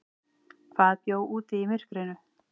Hvað bjó úti í myrkrinu?